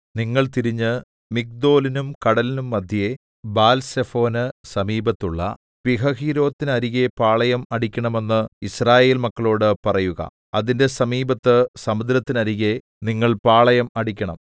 നിങ്ങൾ തിരിഞ്ഞ് മിഗ്ദോലിനും കടലിനും മദ്ധ്യേ ബാൽസെഫോന് സമീപത്തുള്ള പീഹഹീരോത്തിനരികെ പാളയം അടിക്കണമെന്ന് യിസ്രായേൽ മക്കളോട് പറയുക അതിന്റെ സമീപത്ത് സമുദ്രത്തിനരികെ നിങ്ങൾ പാളയം അടിക്കണം